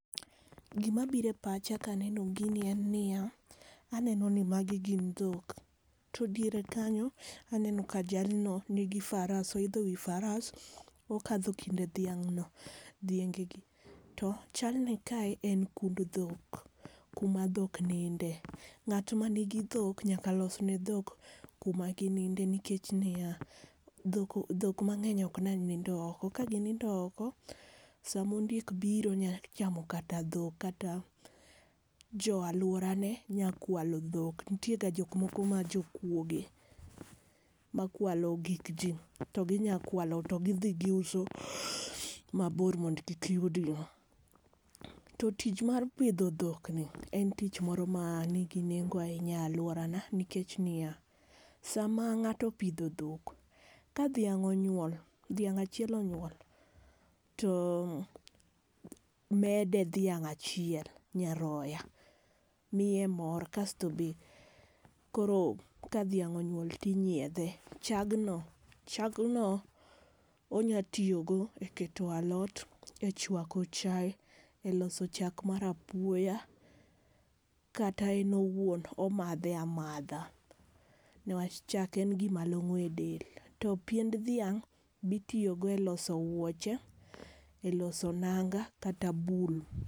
Gima biro epacha kaneno gini en nia, anenoni ni magi gin dhok. To diere kanyo, aneno ka jalno nigi faras oidho wi faras akadho kind dhiang'no dhiengegi. To chalni kae en kund dhok kuma dhok ninde.Ng'at manigi dhok nyaka losne ne dhok kuma gininde nikech niya dhok dhok mang'eny ok nyal nindo oko. Ka gi nindo oko sama ondiek obiro nya chamo kata dhok. Kata joo aluorane nya kwalo dhok nitie ga jok moko ma jokuoge ma kwalo gik ji. To gi nya kwalo to gi dhi gi uso mabor mondo kik yudgigo. To tich mar pidho dhokni en tich moro manigi nengo ahinya e aluorana nikech niya, sama ng'ato opidho dhok ka dhiang' onyuol dhiang' achiel onyuol to o mede dhiang' achiel nyaroya miye mor kasto be koro ka dhiang' onyuol ti nyiedhe chagno chagno onya tiyogo eketo alot, e chwako chai, eloso chak mara apuoya, kata en owuon omadhe amadha newach chak en gima long'o edel. To piend dhiang' bi tiyogo eloso wuoche, eloso nanga kata bul.